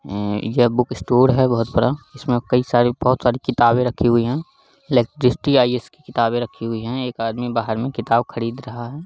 उम्म यह book store है बोहोत बड़ा इसमें कई सारा बोहोत सारी किताबें रखी हुई हैं लाइक दृष्टि आइ.एस. की किताबे रखी हुई हैं। एक आदमी बाहर में किताब खरीद रहा है।